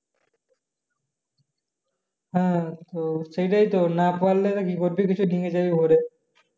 হ্যাঁ তো সেটাই তো না পারলে ডিগি যাবি ভরে